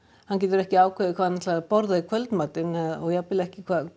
hann getur ekki ákveðið hvað hann ætlar að borða í kvöldmatinn og jafnvel ekki